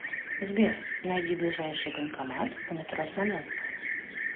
сбер найди ближайший банкомат у метро смоленская